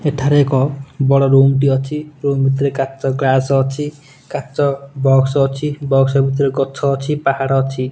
ଏଠାରେ ଏକ ବଡ଼ ରୁମ୍ ଟି ଅଛି ରୁମ୍ ଭିତରେ କାଚ ଗ୍ଲାସ ଅଛି କାଚ ବକ୍ସ ଅଛି ବକ୍ସ ଭିତରେ ଗଛ ଅଛି ପାହାଡ଼ ଅଛି।